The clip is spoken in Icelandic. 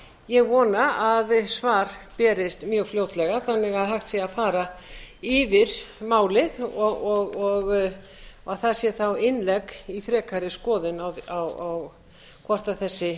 ég vona að svar berist mjög fljótlega þannig að hægt sé að fara yfir málið og að það sé þá innlegg í frekari skoðun á hvort þessi